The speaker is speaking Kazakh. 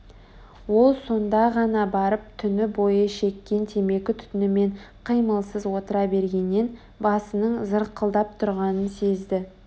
ол сонда ғана барып түні бойы шеккен темекі түтінімен қимылсыз отыра бергеннен басының зырқылдап тұрғанын сезді